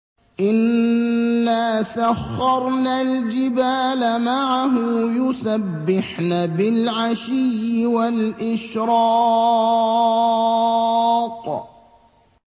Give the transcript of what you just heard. إِنَّا سَخَّرْنَا الْجِبَالَ مَعَهُ يُسَبِّحْنَ بِالْعَشِيِّ وَالْإِشْرَاقِ